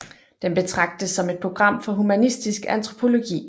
Den betragtes som et program for humanistisk antropologi